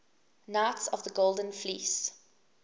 knights of the golden fleece